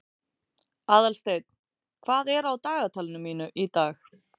Aðalsteinn, hvað er á dagatalinu mínu í dag?